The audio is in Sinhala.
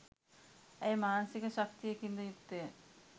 ඇය මානසික ශක්තියකින්ද යුක්තය.